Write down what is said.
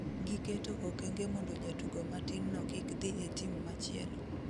Giketo okenge mondo jatugo matin no kik dhi e team machielo